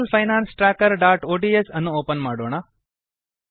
personal finance trackerಒಡಿಎಸ್ ಅನ್ನು open ಮಾಡೋಣ